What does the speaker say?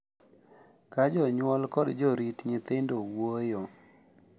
Ka jonyuol kod jorit nyithindo wuoyo.